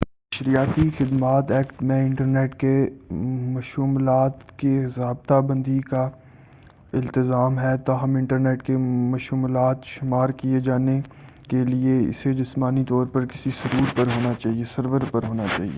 نشریاتی خدمات ایکٹ میں انٹرنیٹ کے مشمولات کی ضابطہ بندی کا التزام ہے تاہم انٹرنیٹ کے مشمولات شمار کیے جانے کے لئے اسے جسمانی طور سے کسی سرور پر ہونا چاہئے